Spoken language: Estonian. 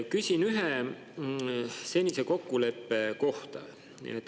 Küsin ühe senise kokkuleppe kohta.